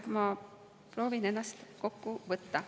Ma proovin ennast kokku võtta.